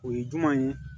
O ye juman ye